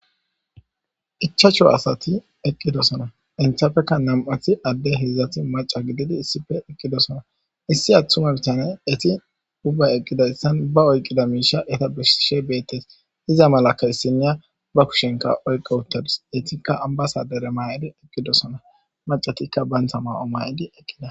Ichacho asati eqqidosona inthafekka nam7athi adde hedzdzati maca gididi issife eqqidosona issi attuma bitana eti ubba eqqidayssan ba oyqida miisha eta bisishe beettes iza malaka issinya ba kushenka oyqo uttadus etikka ambasadere ma7edi eqqidosona macatikka bayntha ma7o maydi eqqida.